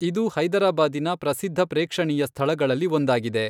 ಇದು ಹೈದರಾಬಾದಿನ ಪ್ರಸಿದ್ಧ ಪ್ರೇಕ್ಷಣೀಯ ಸ್ಥಳಗಳಲ್ಲಿ ಒಂದಾಗಿದೆ.